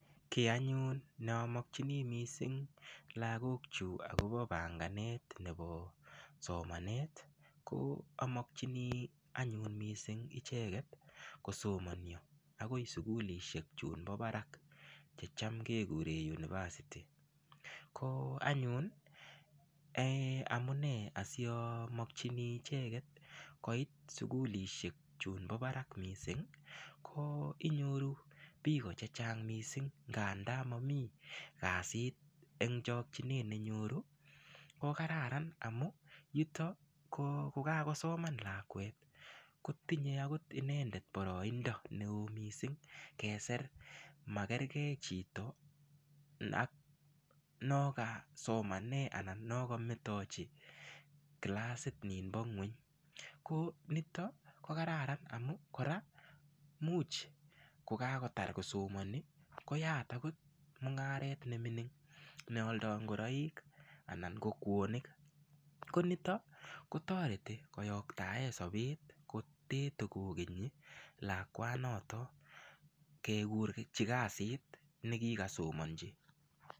Kiy anyun neamakchini lakok chu akobo banganet nebo somanet ko amokchini anyun mising icheket kosomonio akoi sukulishek chunbo barak checham kekure university ko anyun amune asiamakchini icheket koit sukulishek chunbo barak mising ko inyoru biko che chang mising ng'anda mamii kasit eng chokchinet nenyoru ko kararan amun nito ko ngokakosoman lakwet ko tinyei inendet boroindo neo mising keser makergeichito ak alak no kasomanee anan no kametochi kilasit ninn bo ng'weny ko nitok ko kararan amu kora muuch kokakotar kosomani koyat akot mung'aret nemining nealdoi ngoroik anan ko kwonik ko nitok ko toreti koyoktae sobet kote tokokenyi lakwanoto kekurchi kasit nekikasomonchi.